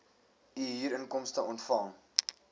u huurinkomste ontvang